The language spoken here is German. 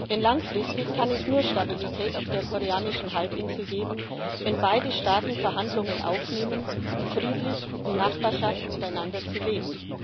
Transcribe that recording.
Denn langfristig kann es nur Stabilität auf der koreanischen Halbinsel geben, wenn beide Staaten Verhandlungen aufnehmen, um friedlich in Nachbarschaft miteinander zu leben.